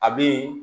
A be yen